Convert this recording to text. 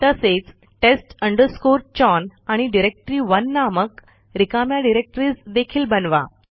तसेचtest chown आणि directory नामक रिकाम्या डिरेक्टरीज देखील बनवा